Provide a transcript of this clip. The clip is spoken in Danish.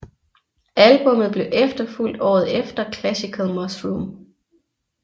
Albummet blev efterfulgt året efter Classical Mushroom